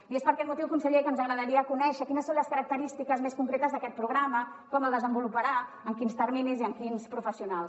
i és per aquest motiu conseller que ens agradaria conèixer quines són les característiques més concretes d’aquest programa com el desenvoluparà en quins terminis i amb quins professionals